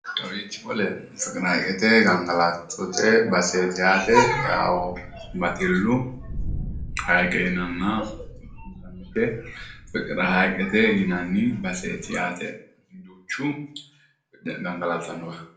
Kawiichi qole fiqiraayikete gangalattote baseeti yaate. Baxillu haayiiqe yinanna fikiraayikete yinanni baseeti yaate duuchu gangalatannowa.